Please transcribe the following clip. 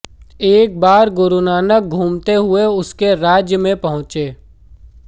एक बार गुरुनानक घूमते हुए उसके राज्य में पहुंचे